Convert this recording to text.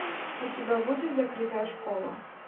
у тебя будет закрытая школа